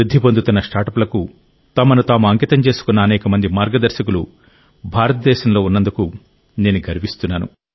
వృద్ధి చెందుతున్న స్టార్టప్లకు తమను తాము అంకితం చేసుకున్న అనేక మంది మార్గదర్శకులు భారతదేశంలో ఉన్నందుకు నేను గర్విస్తున్నాను